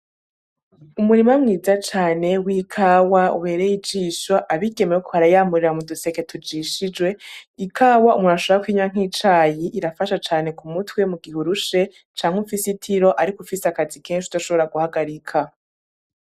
Umurima mwiza cane w’ikawa ubereye ijisho abigeme bariko bayamurira mu duseke tujishijwe . Ikawa umuntu ashobora kunywa nk’icayi irafasha cane ku mutwe mu gihe urushe canje ufise itiro ariko ufise akazi kenshi udashobora guhagarika.